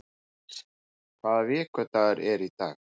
Níls, hvaða vikudagur er í dag?